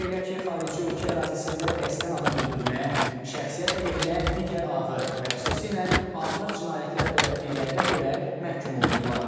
Belə ki, xarici ölkə ərazisində qəsdən adam öldürməyə, şəxsiyyət əleyhinə digər ağır və xüsusilə ağır cinayətlər törətdiklərinə görə məhkum olunublar.